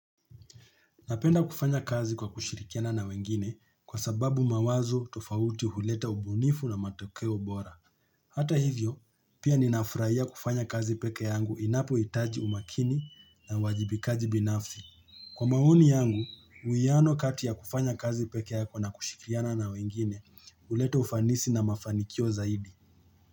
Napenda kufanya kazi kwa kushirikiana na wengine kwa sababu mawazo tofauti huleta ubunifu na matokeo bora. Hata hivyo, pia ninafurahia kufanya kazi pekee yangu inapohitaji umakini na uwajibikaji binafi. Kwa maunoi yangu, uiano katia kufanya kazi pekee yako na kushikiana na wengine, huleta ufanisi na mafanikio zaidi.